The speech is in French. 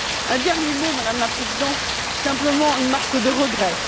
Un dernier mot, Madame la Présidente, simplement une marque de regret.